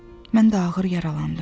Mən də ağır yaralandım.